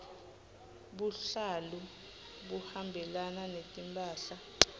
buhlalu buhambelana netimphahla